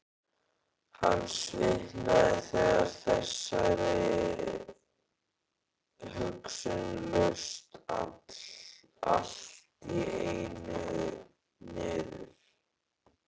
Hann svitnaði þegar þessari hugsun laust allt í einu niður.